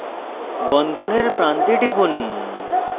বন্ধনের প্রান্তে টিপুন